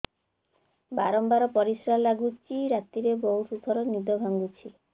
ବାରମ୍ବାର ପରିଶ୍ରା ଲାଗୁଚି ରାତିରେ ବହୁତ ଥର ନିଦ ଭାଙ୍ଗୁଛି